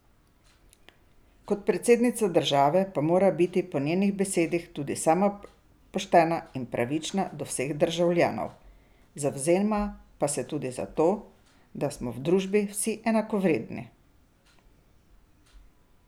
Kot predsednica države pa mora biti po njenih besedah tudi sama poštena in pravična do vseh državljanov, zavzema pa se tudi za to, da smo v družbi vsi enakovredni.